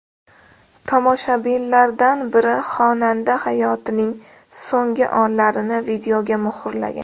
Tomoshabinlardan biri xonanda hayotining so‘nggi onlarini videoga muhrlagan.